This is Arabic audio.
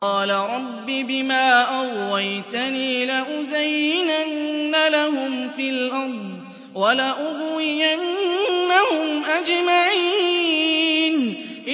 قَالَ رَبِّ بِمَا أَغْوَيْتَنِي لَأُزَيِّنَنَّ لَهُمْ فِي الْأَرْضِ وَلَأُغْوِيَنَّهُمْ أَجْمَعِينَ